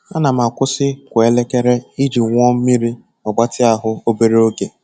Ana m akwụsị kwa elekere iji ṅụọ mmiri ma gbatịa ahụ obere oge.